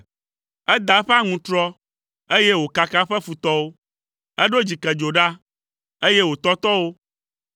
Eda eƒe aŋutrɔ, eye wòkaka eƒe futɔwo, eɖo dzikedzo ɖa, eye wòtɔtɔ wo.